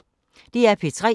DR P3